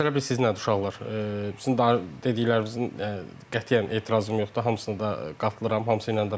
Məsələ bilirsiz nədir uşaqlar, sizin dediklərinizin qətiyyən etirazım yoxdur, hamısına da qatılıram, hamısı ilə də razıyam.